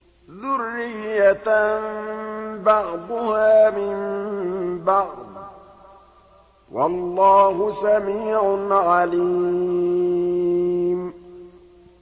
ذُرِّيَّةً بَعْضُهَا مِن بَعْضٍ ۗ وَاللَّهُ سَمِيعٌ عَلِيمٌ